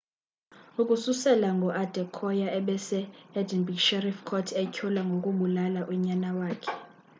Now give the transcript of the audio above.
ukususela ngoko uadekoya ebese-edinburgh sheriff court etyholwa ngokubulala unyana wakhe